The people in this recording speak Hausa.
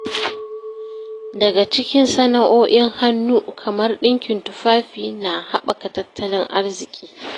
Shiga cikin sana’o’in hannu kamar dinkin tufafi na haɓaka tattalin arziki.